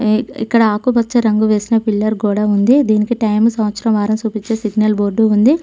ఇక్కడ ఆకుపచ్చ రంగు వేసిన పిల్లర్ గోడ ఉంది దీనికి టైము సంవత్సరం వారం సూపిచ్చే సిగ్నల్ బోర్డు ఉంది.